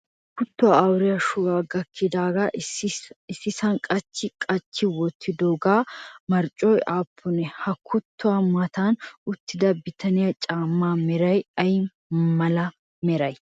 kuttuwa awuree shuhawu gakkidaagee issisan qachchi qachchi wottidoogaa marcccoy aapunee? Ha kuttuwaa matan uttida bitaniyaa caammaa meray ayi mala meree?